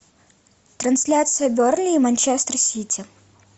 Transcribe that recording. трансляция бернли и манчестер сити